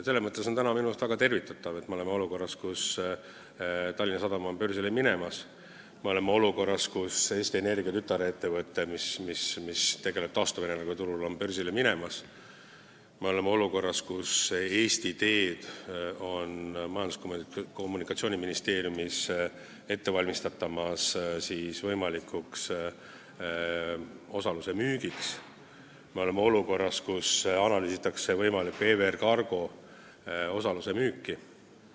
Selles mõttes on minu meelest väga tervitatav, et me oleme olukorras, kus Tallinna Sadam on börsile minemas, et me oleme olukorras, kus Eesti Energia tütarettevõte, mis tegutseb taastuvenergiaturul, on börsile minemas, et me oleme olukorras, kus Majandus- ja Kommunikatsiooniministeeriumis valmistatakse ette Eesti Teede osaluse võimalikku müüki, ning et me oleme olukorras, kus analüüsitakse EVR Cargo osaluse võimalikku müüki.